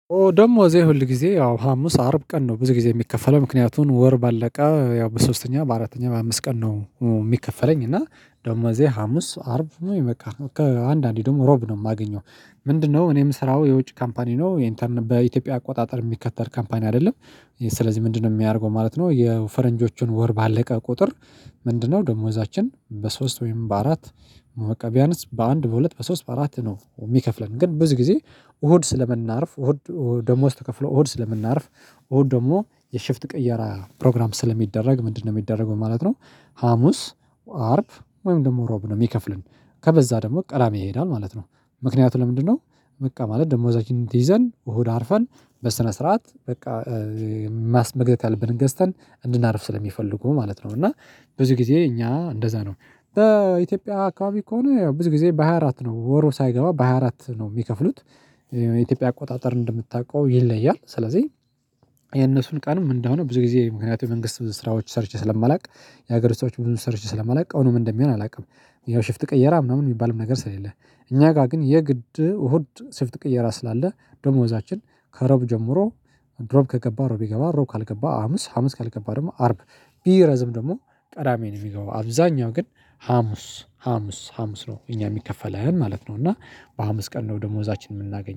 ደግሞ እዚህ ሁል ጊዜ ያው ሀሙስ አርብ ቀን ነው ብዙ ጊዜ የሚከፈለው ምክንያቱን ወር ባለቀ በሶስተኛ በአራተኛ በአምስት ቀን ነው የሚከፈለኝ እና ደግሞ እዚህ ሀሙስ አርብ ነው በቃ ከአንዳንዴ ደግሞ እሮብ ነው የማገኘው። ምንድነው እኔ ምሰራው የውጭ ካምፓኒ ነው ኢንተርን በኢትዮጵያ አቆጣጠር የሚከተል ካምፓኒ አይደለም። ስለዚህ ምንድነው የሚያደርገው ማለት ነው የፈረንጆቹን ወር ባለቀ ቁጥር? ምንድነው ደሞዛችን በሶስት ወይም በአራት? መቀበያንስ በአንድ በሁለት በሶስት በአራት ነው የሚከፍለን ግን ብዙ ጊዜ። እሁድ ስለምናርፍ እሁድ ደሞዝ ተከፍሎ እሁድ ስለምናርፍ። እሁድ ደግሞ ቅየራ ፕሮግራም ስለሚደረግ? ምንድነው የሚደረገው ማለት ነው። ሀሙስ አርብ ወይም ደግሞ እሮብ ነው የሚከፍለን። ከበዛ ደግሞ ቅዳሚ ይሄዳል ማለት ነው። ምክንያቱ ለምንድነው? በቃ ማለት ደሞዛችን ይዘን እሁድ አርፈን በስነ ስርዓት በቃ መግዛት ያለብንን ገዝተን እንድናርፍ ስለሚፈልጉ ማለት ነው። እና ብዙ ጊዜ እኛ እንደዛ ነው። በኢትዮጵያ አካባቢ ከሆነ ያው ብዙ ጊዜ በሃያ አራት ነው ወሩ ሳይገባ በሃያ አራት ነው የሚከፍሉት። የኢትዮጵያ አቆጣጠር እንደምታውቀው ይለያል ስለዚህ። የነሱን ቀን ምን እንደሆነ ብዙ ጊዜ ምክንያቱም መንግስት ስራዎች ሰርቼ ስለማላቅ። የሀገር ሰራዎች ብዙ ሰርቼ ስለማላቅ አሁን ምን እንደሚሆን አላውቅም። ይሄው ሽፍት ቀየራ ምናምን የሚባልም ነገር ስለሌለ። እኛ ጋር ግን የግድ እሁድ ሽፍጥ ቅየራ ስላለ። ደሞዛችን ከሮብ ጀምሮ። እሮብ ከገባ እሮብ ካልገባ እሮብ ካልገባ ሀሙስ ሀሙስ ካልገባ ደግሞ አርብ። ቢረዝም ደግሞ ቀዳሚ ነው የሚገባው አብዛኛው ግን ሀሙስ ሀሙስ ሀሙስ ነው እኛ የሚከፈለን ማለት ነው። እና በሀሙስ ቀን ነው ደሞዛችንን የምናገኘው